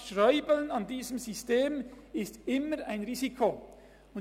Es ist immer ein Risiko, an diesem System rumzuschrauben.